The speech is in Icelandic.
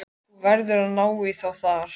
Þú verður að ná í þá þar.